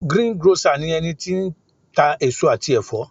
greengrocer ni eni ti n eso ati efo